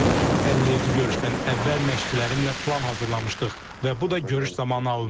Həlledici görüşdən əvvəl məşqçilərimlə plan hazırlamışdıq və bu da görüş zamanı alındı.